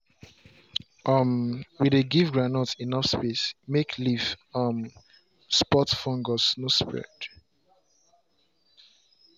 um we dey give groundnut enough space make leaf um spot fungus no spread.